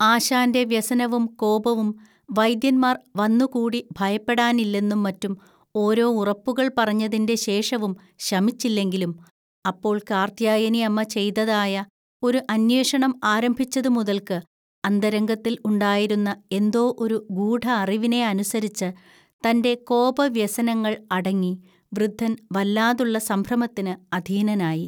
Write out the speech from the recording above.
ആശാന്റെ വ്യസനവും കോപവും, വൈദ്യന്മാർ വന്നുകൂടി ഭയപ്പെടാനില്ലെന്നുംമറ്റും ഓരോ ഉറപ്പുകൾ പറഞ്ഞതിന്റെ ശേഷവും ശമിച്ചില്ലെങ്കിലും, അപ്പോൾ കാർത്ത്യായനിഅമ്മ ചെയ്തതായ ഒരു അന്വേഷണം ആരംഭിച്ചതുമുതൽക്ക് അന്തരംഗത്തിൽ ഉണ്ടായിരുന്ന എന്തോ ഒരു ഗൂഢഅറിവിനെ അനുസരിച്ച് തന്റെ കോപവ്യസനങ്ങൾ അടങ്ങി വൃദ്ധൻ വല്ലാതുള്ള സംഭ്രമത്തിന് അധീനനായി